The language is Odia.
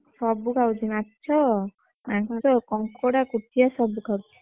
ସବୁ ଖାଉଛି ମାଛ ମାଂସ, କଂକଡା, କୋଚିଆ ସବୁ ଖାଉଛି ।